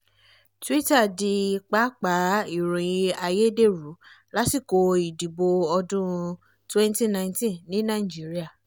twitter di pápá ìròyìn ayédèrú lásìkò ìdìbò ọdún-un twenty nineteen ní nàìjíríà